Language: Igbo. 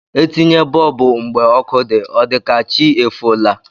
E tinye bọọbụ mgbe ọkụ dị, ọ dị ka chi efola